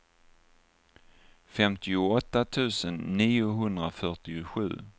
femtioåtta tusen niohundrafyrtiosju